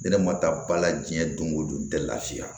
Ne ma taa ba la diɲɛ don o don tɛ lafiya